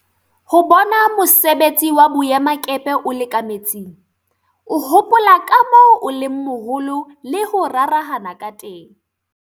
Ho bona mosebetsi wa boemakepe o le ka metsing, o hopola ka moo o leng moholo le ho rarahana ka teng.